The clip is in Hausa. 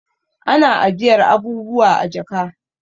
Ana ajiyar abubuwa a jaka